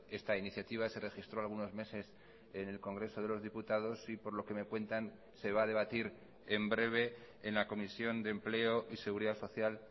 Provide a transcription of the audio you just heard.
esta iniciativa se registró algunos meses en el congreso de los diputados y por lo que me cuentan se va a debatir en breve en la comisión de empleo y seguridad social